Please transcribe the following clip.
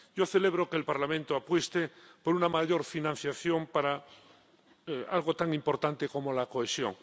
Yo celebro que el Parlamento apueste por una mayor financiación para algo tan importante como la cohesión.